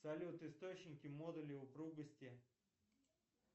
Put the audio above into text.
салют источники модули упругости